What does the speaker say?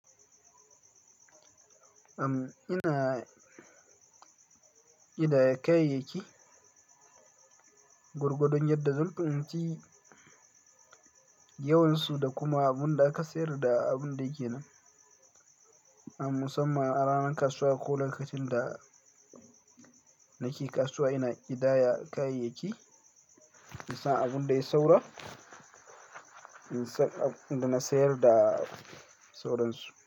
Am, ina ƙidaya kayayyaki, gorgo don yadda zan dauki yawansu da kuma abin da aka sayar da abin da yake nan. A musamman a ranar kasuwa ko lokacin da nake kasuwa ina ƙidaya kayayyaki, insa abun da ya sauro, insa abin da na sayar da sauransu.